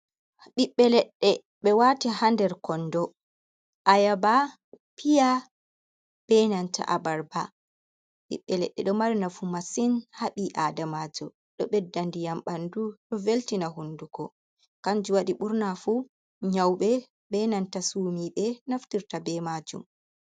Ɓiɓɓe leɗɗe ɓe wati ha nder kondo ayaba, piya, be nanta abarba. Ɓiɓɓe ledde ɗo marina fu masin ha bi adamajoɗo ndiyam bandu do veltina hunduko kanji wadi burna fu nyaube be nanta sumi denaftirta be majum.